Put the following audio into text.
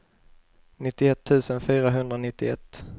nittioett tusen fyrahundranittioett